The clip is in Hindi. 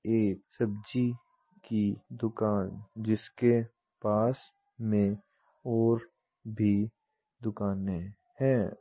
एक सब्जी की दुकान जिसके पास में और भी दुकाने हैं।